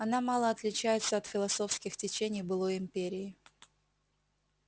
она мало отличается от философских течений былой империи